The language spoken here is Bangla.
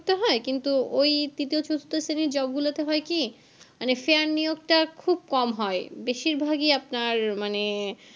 হয় কিন্তু ওই তৃতীয় চতুর্থ শ্রেণীর job গুলোতে হয় কি মানে fair নিয়োগ টা খুব কম হয় বেশিরভাগই আপনার মানে